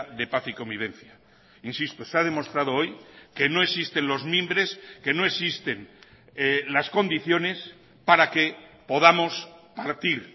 de paz y convivencia insisto se ha demostrado hoy que no existen los mimbres que no existen las condiciones para que podamos partir